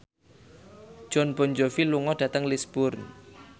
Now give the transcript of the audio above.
Jon Bon Jovi lunga dhateng Lisburn